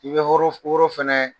I bɛ woro woro fɛnɛ